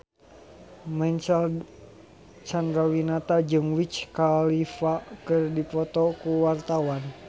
Marcel Chandrawinata jeung Wiz Khalifa keur dipoto ku wartawan